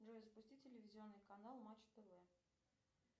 джой запусти телевизионный канал матч тв